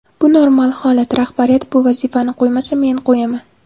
Bu normal holat, rahbariyat bu vazifani qo‘ymasa, men qo‘yaman.